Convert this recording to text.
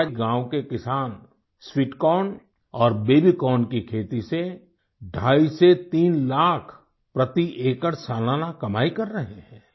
आज गाँव के किसान स्वीट कॉर्न और बेबी कॉर्न की खेती से ढ़ाई से तीन लाख प्रति एकड़ सालाना कमाई कर रहे हैं